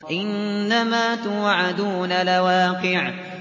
إِنَّمَا تُوعَدُونَ لَوَاقِعٌ